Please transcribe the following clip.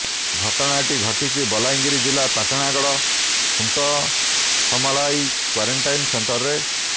ଘଟଣାଟି ଘଟିଛି ବଲାଙ୍ଗିର ଜିଲ୍ଲା ପାଟଣାଗଡ଼ ଖୁଣ୍ଟସମଲାଇ କ୍ୱାରେଣ୍ଟାଇନ୍ ସେଣ୍ଟରରେ